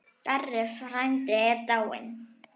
Darri frændi er dáinn.